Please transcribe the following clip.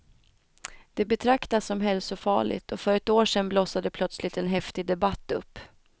Det betraktas som hälsofarligt och för ett år sedan blossade plötsligt en häftig debatt upp.